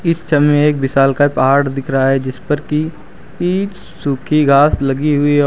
इस समय एक विशालकाय पहाड़ दिख रहा है जिसपर की इच सूखी घास लगी हुई और--